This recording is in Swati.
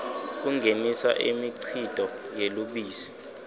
kungenisa imikhicito yelubisi